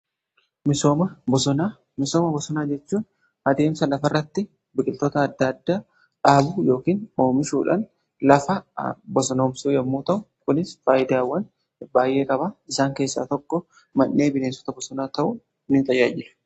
Misooma bosonaa: Misooma bosonaa jechuun adeemsa lafa irratti biqiltoota adda addaa dhaabuu yookiin oomishuudhaan lafa bosonoomsuu yommuu ta'u kunis faayidaawwan baay'ee qaba. Isaan keessaa tokko mannee bineensota bosonaa ta'uun ni tajaajila.